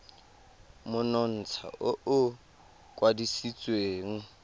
le monontsha o o kwadisitsweng